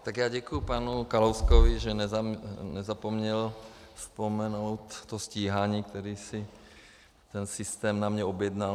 Tak já děkuju panu Kalouskovi, že nezapomněl vzpomenout to stíhání, které si ten systém na mě objednal.